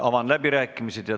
Avan läbirääkimised.